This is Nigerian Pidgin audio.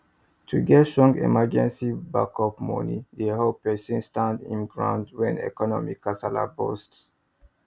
to get strong emergency backup money dey help person stand him ground when economic kasala burst